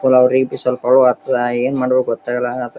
ಏನ್ ಮಾಡಬೇಕು ಗೊತ್ತಾಗಲ್ಲಲ್ ಅಡ--